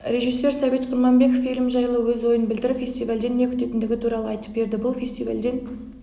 режиссер сәбит құрманбеков фильм жайлы өз ойын білдіріп фестивальден не күтетіндігі туралы айтып берді бұл фестивальден